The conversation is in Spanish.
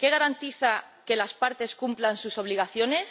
¿Qué garantiza que las partes cumplan sus obligaciones?